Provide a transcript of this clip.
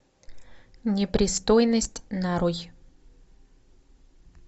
непристойность нарой